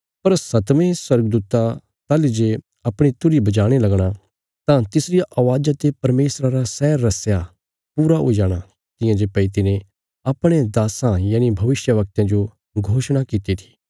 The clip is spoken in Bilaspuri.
पर सतवें स्वर्गदूता ताहली जे अपणी तुरही बजाणे लगणा तां तिसरिया अवाज़ा ते परमेशरा रा सै रहस्य पूरा हुई जाणा तियां जे भई तिने अपणे दास्सां यनि भविष्यवक्तयां जो घोषणा कित्ती थी